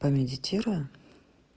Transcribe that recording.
помедитирую